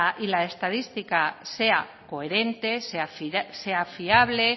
y la estadística sea coherente sea fiable